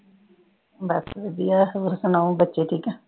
ਬਸ ਵਧੀਆ ਹੋਰ ਸੁਣਾਓ ਬੱਚੇ ਠੀਕ ਆ?